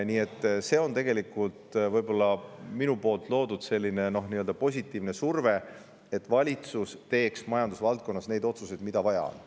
Nii et see on tegelikult minu loodud positiivne surve selleks, et valitsus teeks majandusvaldkonnas neid otsuseid, mida on vaja teha.